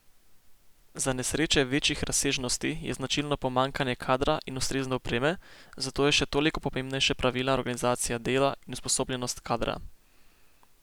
Za nesreče večjih razsežnosti je značilno pomanjkanje kadra in ustrezne opreme, zato je še toliko pomembnejša pravilna organizacija dela in usposobljenost kadra.